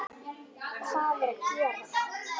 HVAÐ ER AÐ GERAST?